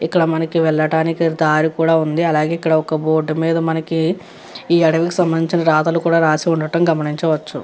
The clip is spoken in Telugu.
ఇక్కడ మనకి వెళ్ళటానికి దారి కూడా ఉంది అలాగే ఇక్కడ ఒక బోర్డు మీద మనకి ఈ అడవికి సంభందించిన రాతలు కూడా రాసి ఉండడం గమనించవచ్చు.